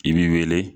I b'i wele